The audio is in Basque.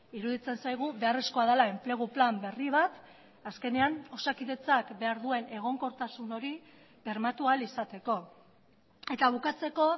iruditzen zaigu beharrezkoa dela enplegu plan berri bat azkenean osakidetzak behar duen egonkortasun hori bermatu ahal izateko eta bukatzeko